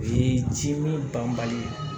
O ye ji min banbali ye